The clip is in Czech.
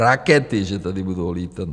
Rakety že tady budou létat.